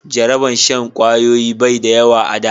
Jaraban shan kwayoyi bai da yawa a da